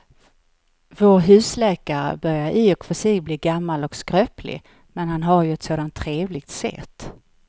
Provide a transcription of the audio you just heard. Vår husläkare börjar i och för sig bli gammal och skröplig, men han har ju ett sådant trevligt sätt!